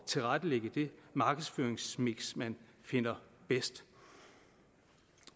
tilrettelægge det markedsføringsmiks man finder bedst